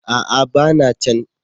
A'a! ba na can.